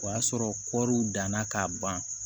O y'a sɔrɔ kɔɔriw danna k'a ban